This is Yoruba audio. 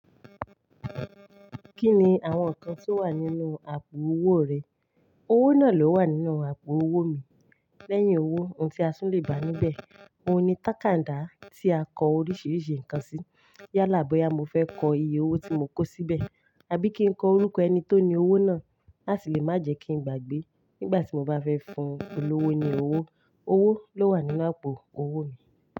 Kí ni àwọn nǹkan tí ó wà nínú àpò owó rẹ? Owó náà ló wà nínú àpò owó mi. Lẹ́yìn owó, ohun tí a tún lè bá níbẹ̀, òun ni tàkándá tí a kọ oríṣiríṣi nǹkan sí. Yálà bọ́yá mo fẹ́ kọ iye owó tí mo kó síbẹ̀ àbí kí n kọ orúkọ ẹni tó ni owó náà, láti lè má jẹ kí n gbàgbé, nígbà tí mo bá fẹ́ fún olówó ni owó. Owó ló wà nínú àpò owó mi.